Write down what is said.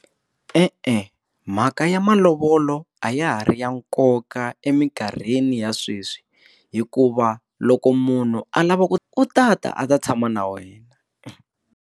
E-e, mhaka ya malovolo a ya ha ri ya nkoka eminkarhini ya sweswi hikuva loko munhu a lava ku u ta ta a ta tshama na wena.